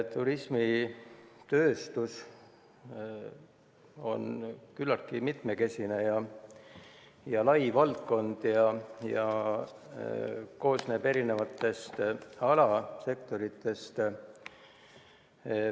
Turismitööstus on küllaltki mitmekesine ja lai valdkond ning koosneb erinevatest alasektoritest.